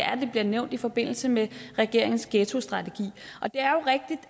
bliver nævnt i forbindelse med regeringens ghettostrategi det